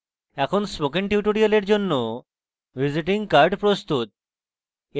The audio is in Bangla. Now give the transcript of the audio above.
এখন spoken tutorial এর জন্য visiting card প্রস্তুত